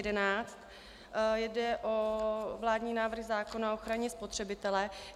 Jde o vládní návrh zákona o ochraně spotřebitele.